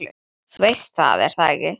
Þú veist það, er það ekki?